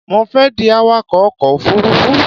Mo fẹ́ di awakọ̀ ọkọ̀ òfurufú